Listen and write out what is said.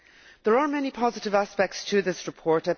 There are many positive aspects to this report